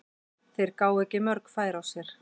Þeir gáfu ekki mörg færi á sér.